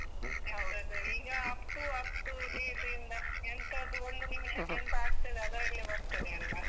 ಅದ್ ಈಗ, up to up to date ಇಂದ ಎಂತಾದ್ರೂ ಒಂದು ನಿಮಿಷಕ್ಕೆ ಎಂತ ಆಗ್ತದೆ ಅದ್ರಲ್ಲೇ ಬರ್ತದೆ ಅಲ್ಲ.